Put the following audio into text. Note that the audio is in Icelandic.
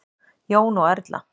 Jón og Erla.